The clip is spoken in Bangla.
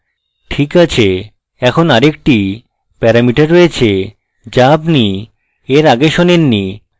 ঠিক আছে এখানে আরেকটি প্যারামিটার রয়েছে যা আপনি এর আগে শোনেন নি